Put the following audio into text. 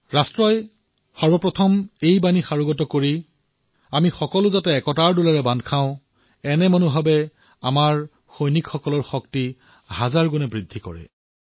ৰাষ্ট্ৰৰ সৰ্বোপৰি মন্ত্ৰৰ বাবে ঐক্যতাৰ সূতাত বন্ধা দেশবাসীয়ে আমাৰ সৈনিকৰ শক্তি কেইবা হাজাৰ গুণো বঢ়াই দিয়ে